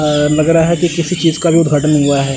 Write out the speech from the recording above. लग रहा है कि किसी चीज का भी उद्घाटन हुआ है।